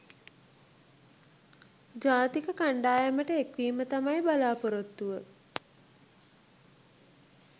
ජාතික කණ්ඩායමට එක්වීම තමයි බලාපොරොත්තුව.